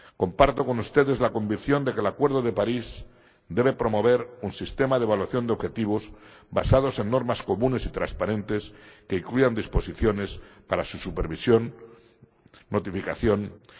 Comparto con ustedes la convicción de que el acuerdo de París debe promover un sistema de evaluación de objetivos basados en normas comunes y transparentes que incluyan disposiciones para su supervisión, notificación y verificación.